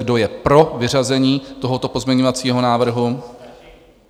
Kdo je pro vyřazení tohoto pozměňovacího návrhu?